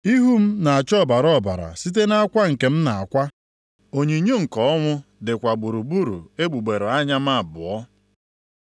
Ihu m na-acha ọbara ọbara site nʼakwa nke m na-akwa, onyinyo nke ọnwụ dịkwa gburugburu egbugbere anya m abụọ;